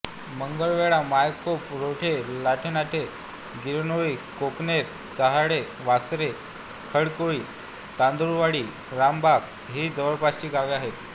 मांगेलवाडा मायखोप रोठे लालठाणे गिरनोळी कोकणेर चहाडे वासरे खडकोळी तांदुळवाडी रामबाग ही जवळपासची गावे आहेत